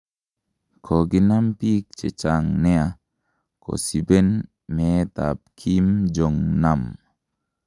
koginam pig chechang nea kosibeen meet ap Kim Jong-nam